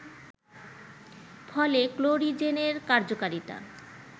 ফলে ক্লোরিজেনের কার্যকারিতা